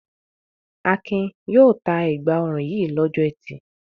Alin yóò ta ẹ̀gbá-ọrùn yìí lọ́jọ́ ẹtì.